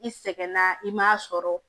I sɛgɛnna i m'a sɔrɔ